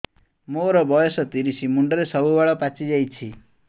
ମୋର ବୟସ ତିରିଶ ମୁଣ୍ଡରେ ସବୁ ବାଳ ପାଚିଯାଇଛି